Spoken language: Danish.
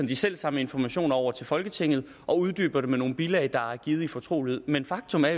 de selv samme informationer over til folketinget og uddyber det med nogle bilag der er givet i fortrolighed men faktum er